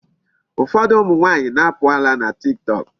Ụfọdụ ụmụ nwaanyị na-apụ ala na Tiktok.